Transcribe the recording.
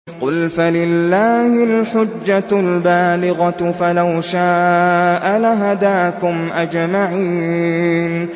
قُلْ فَلِلَّهِ الْحُجَّةُ الْبَالِغَةُ ۖ فَلَوْ شَاءَ لَهَدَاكُمْ أَجْمَعِينَ